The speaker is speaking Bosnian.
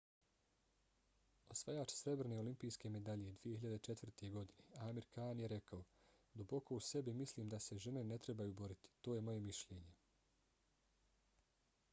osvajač srebrne olimpijske medalje 2004. godine amir khan je rekao: duboko u sebi mislim da se žene ne trebaju boriti. to je moje mišljenje.